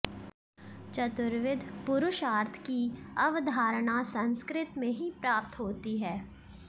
चतुर्विध पुरूषार्थ की अवधारणा संस्कृत में ही प्राप्त होती है